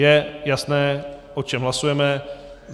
Je jasné, o čem hlasujeme?